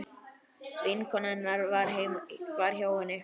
Vinkona hennar var hjá henni.